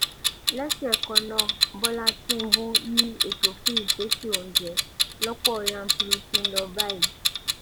lẹ́sẹ̀ kannáà bọ́lá tìǹbù ni ètò fún ìpèsè oúnjẹ lọ̀pọ̀ yanturu ti ń lọ báyìí